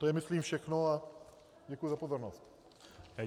To je myslím všechno a děkuji za pozornost.